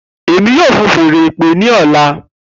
Emi yoo fun fèèrè ìpè ni ọla.